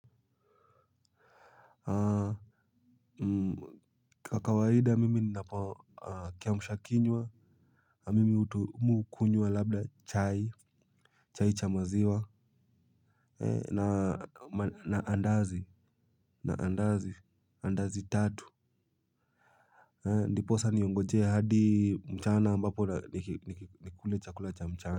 Kwa kawaida mimi ninapo kiamshakinywa mimi hukunywa labda chai chai cha maziwa na andazi tatu ndiposa niongojee hadi mchana ambapo nikule cha kulacha mchana.